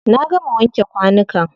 Na gama wanke kwanukan.